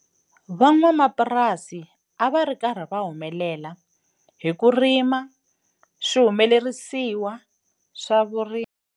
Van'wamapurasi a va ri karhi va humelela hi ku rima swihumelerisiwa swa vurimi.